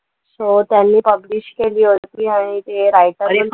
So त्यांनी publish केली होती आणि ते writer